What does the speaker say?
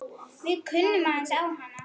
Við kunnum aðeins á hana.